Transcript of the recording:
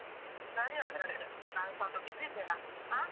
ಸರಿ ಹಾಗಾರೆ. ನಾನು ಸ್ವಲ್ಪ busy ಇದ್ದೇನಾ, ಹ.